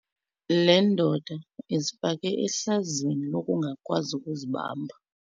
Le ndoda izifake ehlazweni lokungakwazi ukuzibamba.